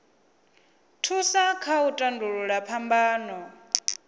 thusa kha u tandulula phambano